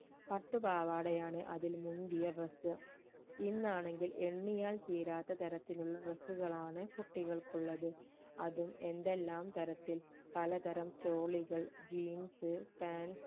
പട്ടുപാവാട ആണ് അതിൽ മുന്തിയ dress ഇന്നാണെങ്കിൽ എണ്ണിയാൽ തീരാത്ത തരത്തിലുള്ള dress കൾ ആണ് കുട്ടികൾക്ക് ഉള്ളത് അതും എന്തെല്ലാം തരത്തിൽ പല തരം ചോളികൾ jeans pants